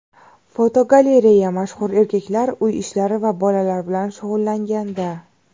Fotogalereya: Mashhur erkaklar uy ishlari va bolalar bilan shug‘ullanganda.